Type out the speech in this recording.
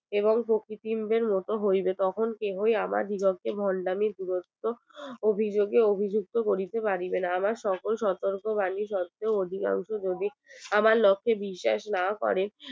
এবং সত্যি হইবে এবং তখন কেহই আমার বীরত্বের ভন্ডামির বীরত্ব অভিযোগে অভিযুক্ত করিতে পারিবে না আমার সকল সতর্ক বাণী আমার লক্ষে বিশ্ব না হয়